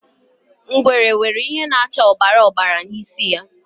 Ngwere nwere ihe na-acha ọbara ọbara n'isi ya.